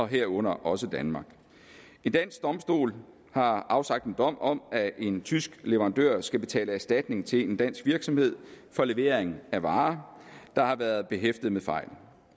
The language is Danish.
herunder også danmark en dansk domstol har afsagt en dom om at en tysk leverandør skal betale erstatning til en dansk virksomhed for levering af varer der har været behæftet med fejl